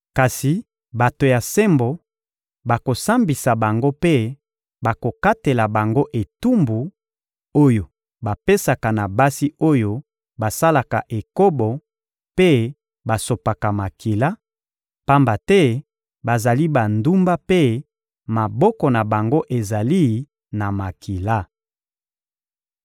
Kasi bato ya sembo bakosambisa bango mpe bakokatela bango etumbu oyo bapesaka na basi oyo basalaka ekobo mpe basopaka makila, pamba te bazali bandumba mpe maboko na bango ezali na makila.